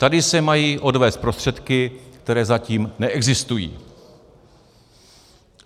Tady se mají odvést prostředky, které zatím neexistují.